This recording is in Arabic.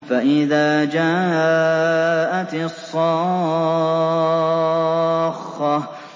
فَإِذَا جَاءَتِ الصَّاخَّةُ